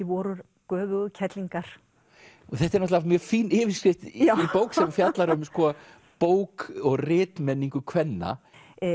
vorar göfugu kerlingar og þetta er náttúrulega mjög fín yfirskrift í bók sem fjallar um bók og kvenna